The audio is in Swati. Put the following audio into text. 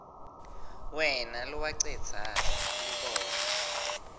wena lowacedza lubombo